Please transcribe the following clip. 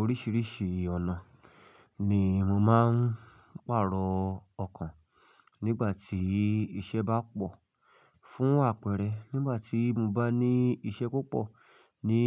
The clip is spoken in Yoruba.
Oríṣiríṣi ọ̀nà ni mo máa ń pàrọ̀ ọkàn nígbà tí iṣẹ́ bá pọ̀. Fún àpẹẹrẹ, nígbà tí mo bá ní iṣẹ́ púpọ̀ ní